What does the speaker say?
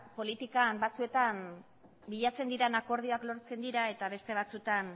politikan batzuetan bilatzen diren akordioak lortzen dira eta beste batzuetan